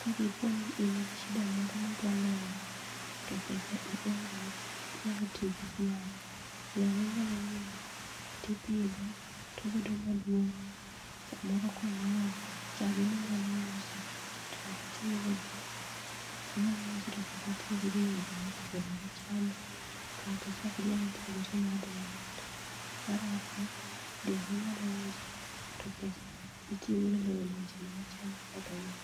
ka dipo ni in gi shida moro midwa loyo to pesa ionge go inyalo tiyo gi dhiang. Dhiang' inyalo nyieo tipitho tobedo maduong' samoro konyuol to chageno inyalo uso tichakitiyo godo inyalo uso to pesa itiyogodo e yore yore machandi kata chak inyalo tiyogo timatho mar ariyo dhiang' inyalo uso to pesano itiyogo e loyo lonje ni machandi e dalau.